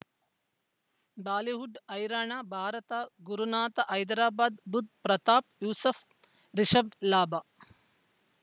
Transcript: Bollywood ಹೈರಾಣ ಭಾರತ ಗುರುನಾಥ ಹೈದರಾಬಾದ್ ಬುಧ್ ಪ್ರತಾಪ್ ಯೂಸುಫ್ ರಿಷಬ್ ಲಾಭ